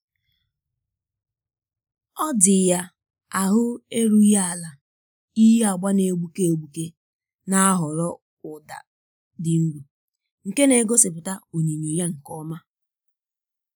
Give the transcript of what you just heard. ọ dị ya ahụ erughị ala iyi agba na-egbuke egbuke na-ahọrọ ụda dị nro nke na-egosipụta onyinyo ya nke ọma.